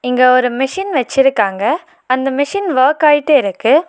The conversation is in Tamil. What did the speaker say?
இங்க ஒரு மிஷின் வச்சிருக்காங்க அந்த மிஷின் வர்க் அயீட்டு இருக்கு.